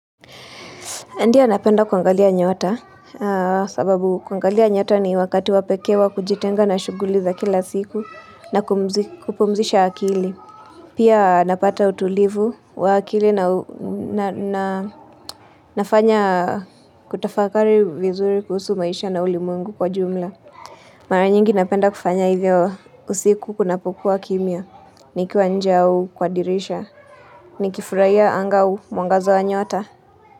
Ndiyo napenda kuangalia nyota sababu kwangalia nyota ni wakati wapekewa kujitenga na shuguliza kila siku na kupumzisha akili. Pia napata utulivu wa akili na nafanya kutafakari vizuri kuhusu maisha na ulimwengu kwa jumla. Mara nyingi napenda kufanya hivyo usiku kuna pokuwa kimya nikiwa nje au kwa dirisha ni kifurahia anga au mwangazo wa nyota.